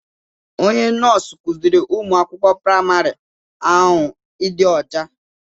Onye nọọsụ kuziri ụmụ akwụkwọ praịmarị ahụ ịdị ọcha.